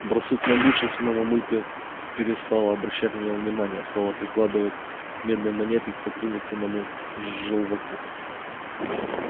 барсук набычился но мамулька перестала обращать на него внимание а стала прикладывать медные монетки к папулькиному желваку